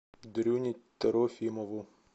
дрюне трофимову